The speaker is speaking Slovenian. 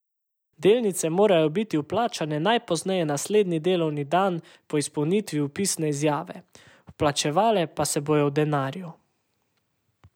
Delnice morajo biti vplačane najpozneje naslednji delovni dan po izpolnitvi vpisne izjave, vplačevale pa se bodo v denarju.